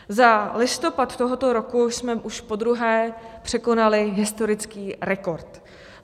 Za listopad tohoto roku jsme už podruhé překonali historický rekord.